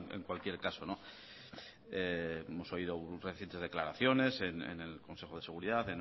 en cualquier caso hemos oído recientes declaraciones en el consejo de seguridad